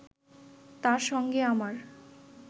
তাঁর সঙ্গে আমার